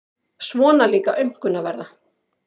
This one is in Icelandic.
Svona líka aumkunarverða.